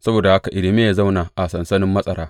Saboda haka Irmiya ya zauna a sansanin matsara.